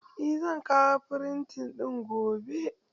Eh zan kawo firitan gobe.